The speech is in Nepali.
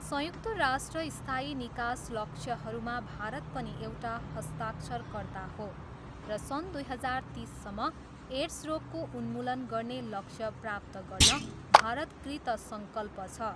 संयुक्त राष्ट्र स्थायी निकास लक्ष्यहरूमा भारत पनि एउटा हस्ताक्षरकर्ता हो र सन् दुई हजार तिससम्म एड्स रोगको उन्मूलन गर्ने लक्ष्य प्राप्त गर्न भारत कृतसङ्कल्प छ।